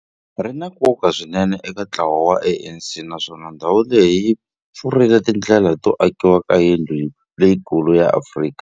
Ri na nkoka swinene eka ntlawa wa ANC, naswona ndhawu leyi yi pfurile tindlela to akiwa ka yindlu leyikulu ya Afrika.